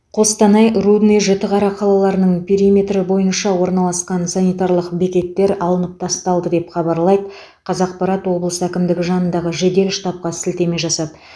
қостанай рудный жітіқара қалаларының периметрі бойынша орналасқан санитарлық бекеттер алынып тасталды деп хабарлайды қазақпарат облыс әкімдігі жанындағы жедел штабқа сілтеме жасап